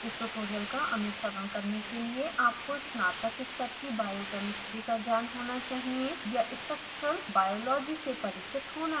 इस ट्यूटोरियल का अनुसरण करने के लिए आपको स्नातक स्तर की biochemistry का ज्ञान होना चाहिए या structural biology से परिचित होना चाहिए